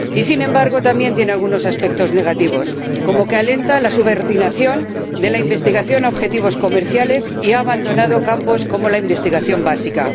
Y sin embargo, también tiene algunos aspectos negativos, como que alienta la subordinación de la investigación a objetivos comerciales y que ha abandonado campos como la investigación básica.